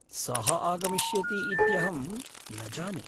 सः आगमिष्यति इत्यहं न जाने।